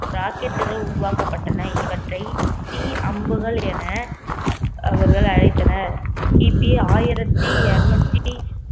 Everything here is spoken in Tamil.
rocket கள் உருவாக்கப்பட்டன இவற்றை தீ அம்புகள் என அவர்கள் அழைத்தனர் கிபி ஆயிரத்தி இருநூத்தி